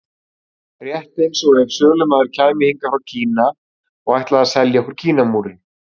Rétt eins og ef sölumaður kæmi héðan frá Kína og ætlaði að selja okkur Kínamúrinn.